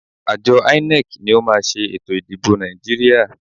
Àjọ INEC ni ó máa ṣe ètò ìdìbò Nàìjíríà.